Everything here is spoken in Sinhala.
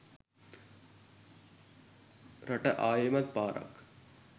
රට ආයෙමත් පාරක්